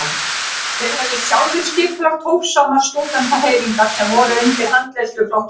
Þeir höfðu sjálfir skipulagt hófsamar stúdentahreyfingar sem voru undir handleiðslu flokksins.